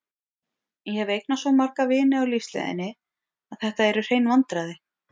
Ég hef eignast svo marga vini á lífsleiðinni að þetta eru hrein vandræði.